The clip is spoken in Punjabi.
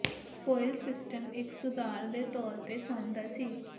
ਸਪੋਇਲਜ਼ ਸਿਸਟਮ ਇੱਕ ਸੁਧਾਰ ਦੇ ਤੌਰ ਤੇ ਚਾਹੁੰਦਾ ਸੀ